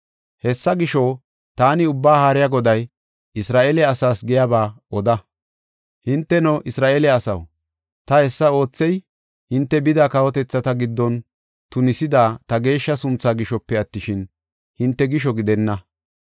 “Hessa gisho, taani Ubbaa Haariya Goday, Isra7eele asaas giyaba oda. ‘Hinteno, Isra7eele asaw, ta hessa oothey, hinte bida kawotethata giddon tunisida ta geeshsha sunthaa gishope attishin, hinte gisho gidenna.